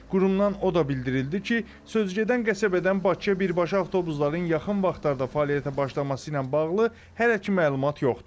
Qurumdan o da bildirildi ki, sözügedən qəsəbədən Bakıya birbaşa avtobusların yaxın vaxtlarda fəaliyyətə başlaması ilə bağlı hələ ki məlumat yoxdur.